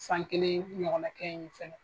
San kelen ɲɔgɔn na kɛ yen fɛnɛ.